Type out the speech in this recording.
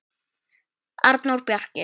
Arnór Bjarki.